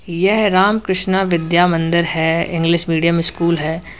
यह राम कृष्णा विद्या मंदिर है English medium school है।